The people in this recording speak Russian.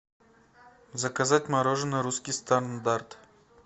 заказать мороженое русский стандарт